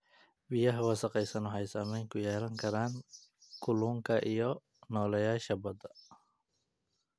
Biyaha wasakhaysan waxay saameyn ku yeelan karaan kalluunka iyo nooleyaasha badda.